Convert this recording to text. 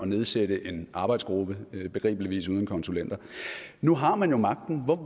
nedsætte en arbejdsgruppe begribeligvis uden konsulenter nu har man jo magten